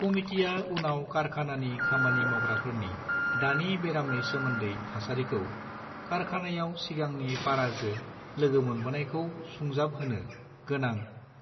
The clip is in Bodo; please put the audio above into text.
कमितिया उनाव कारखानानि खामानि मावग्राफोरनि दानि बेरामनि सोमोन्दै थासारि​खौ कारखानायाव सिगांनि पाराजो लोगो मोनबोनायखौ सुंजाबहोनो गोनां